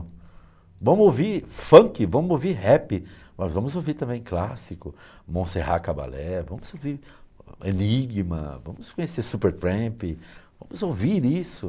Vamos ouvir funk, vamos ouvir rap, mas vamos ouvir também clássico, Monserrat Caballé, vamos ouvir Enigma, vamos conhecer Super Tramp, vamos ouvir isso.